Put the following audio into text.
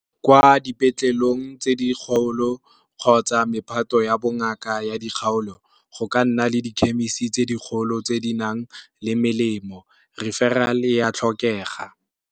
Kwa dipetleleng tse di kgolo kgotsa mephato ya bongaka ya dikgaolo, go ka nna le dikhemisi tse dikgolo tse di nang le melemo referral ya tlhokega.